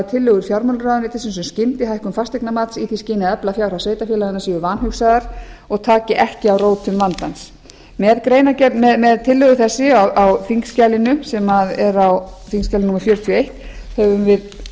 tillögur fjármálaráðuneytisins um skyndihækkun fasteignamats í því skyni að efla fjárhag sveitarfélaganna séu vanhugsaðar og taki ekki á rótum vandans með tillögu þessari á þingskjalinu sem er á þingskjali fjörutíu og eitt höfum við